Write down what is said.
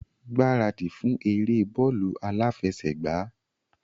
Gbaradi fún eré bóólù aláfẹṣègbàá!